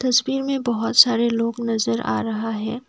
तस्वीर में बहुत सारे लोग नजर आ रहा है।